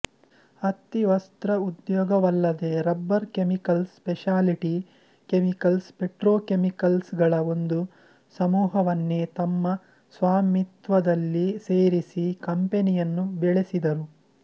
ಹತ್ತಿವಸ್ಟ್ರ ಉದ್ಯೋಗವಲ್ಲದೆ rubber chemicals speciality chemicals petrochemicals ಗಳ ಒಂದು ಸಮೂಹವನ್ನೇ ತಮ್ಮ ಸ್ವಾಮಿತ್ವದಲ್ಲಿ ಸೇರಿಸಿ ಕಂಪೆನಿಯನ್ನು ಬೆಳೆಸಿದರು